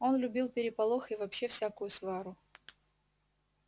он любил переполох и вообще всякую свару